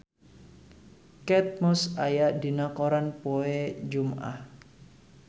Kate Moss aya dina koran poe Jumaah